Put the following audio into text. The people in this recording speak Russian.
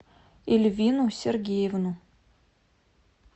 эльвину сергеевну